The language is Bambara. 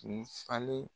Kun falen